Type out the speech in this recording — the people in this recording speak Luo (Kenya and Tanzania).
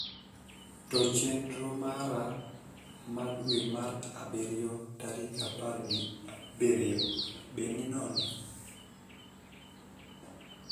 to chenro mara ma adwe mar abirio tarik apar gi abirio be ni nono